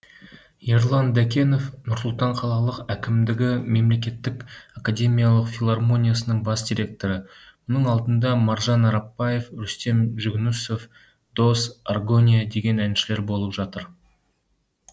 ерлан дәкенов нұр сұлтан қалалық әкімдігі мемлекеттік академиялық филармониясының бас директоры мұның алдында маржан арапбаев рүстем жүгінісов дос аргония деген әншілер болып жатыр